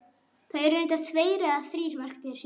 Það eru reyndar tveir eða þrír merktir hringir.